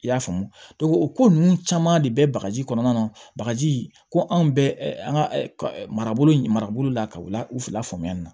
I y'a faamu o ko ninnu caman de bɛ bagaji kɔnɔna na bagaji ko anw bɛ an ka marabolo marabolo la ka u la u fila faamuya nin na